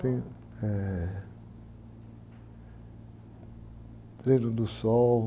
Tem, eh, do Sol.